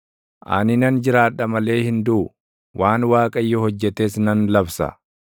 Ani nan jiraadha malee hin duʼu; waan Waaqayyo hojjetes nan labsa.